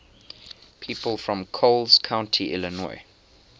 people from coles county illinois